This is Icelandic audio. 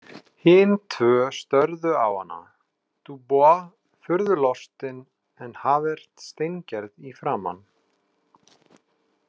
Hin tvö störðu á hana, Dubois furðu lostinn en Javert steingerð í framan.